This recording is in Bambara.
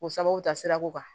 O sababu ta sira ko kan